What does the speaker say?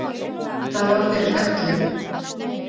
Það var fyrir öllu.